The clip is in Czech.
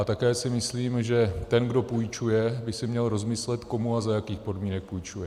A také si myslím, že ten, kdo půjčuje, by si měl rozmyslet, komu a za jakých podmínek půjčuje.